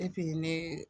ne